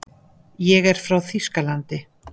Ég er frá Þýskalandi.